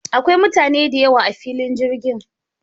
Akwai mutane da yawa a filin jirgin.